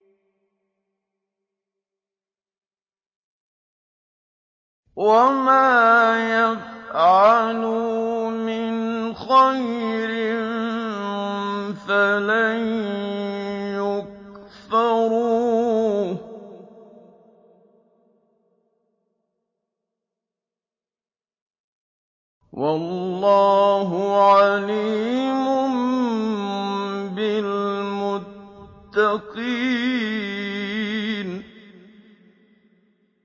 وَمَا يَفْعَلُوا مِنْ خَيْرٍ فَلَن يُكْفَرُوهُ ۗ وَاللَّهُ عَلِيمٌ بِالْمُتَّقِينَ